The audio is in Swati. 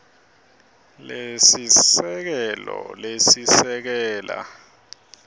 lesiseke lo lesekela